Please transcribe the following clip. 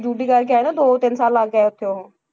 Duty ਕਰਕੇ ਆਏ ਨਾ ਦੋ ਤਿੰਨ ਸਾਲ ਲਾ ਕੇ ਆਏ ਉੱਥੇ ਉਹ,